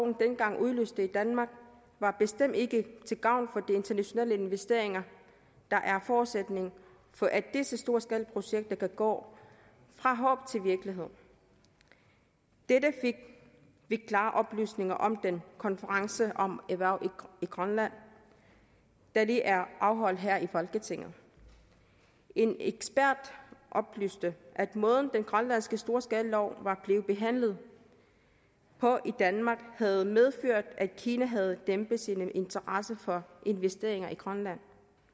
dengang udløste i danmark var bestemt ikke til gavn for de internationale investeringer der er forudsætningen for at disse storskalaprojekter kan gå fra håb til virkelighed dette fik vi klare oplysninger om ved den konference om erhverv i grønland der lige er afholdt her i folketinget en ekspert oplyste at den måde den grønlandske storskalalov var blevet behandlet på i danmark havde medført at kina havde dæmpet sin interesse for investeringer i grønland